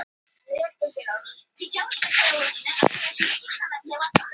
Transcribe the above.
Bros fyrir mig sérstaklega.